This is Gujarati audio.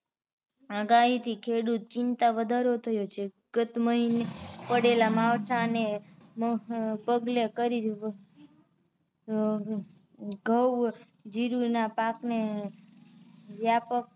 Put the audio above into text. આગાહી થી ખેડૂતો ચિંતા વધારો થયો છે ગત મહિ ને પડેલા માવઠા ને પગલે કરી ઘઉ, જીરું ના પાક ને વ્યાપક